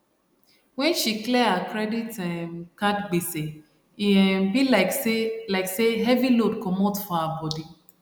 when she clear her credit um card gbese e um be like say like say heavy load comot for her body